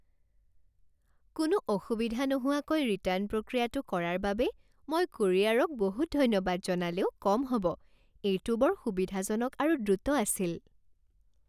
কোনো অসুবিধা নোহোৱাকৈ ৰিটাৰ্ণ প্ৰক্ৰিয়াটো কৰাৰ বাবে মই কোৰিয়াৰক বহুত ধন্যবাদ জনালেওঁ কম হ'ব, এইটো বৰ সুবিধাজনক আৰু দ্ৰুত আছিল।